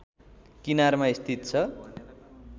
किनारमा स्थित छ